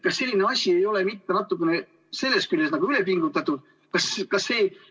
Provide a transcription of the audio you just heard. Kas selline asi ei ole sellest küljest võttes natuke üle pingutatud?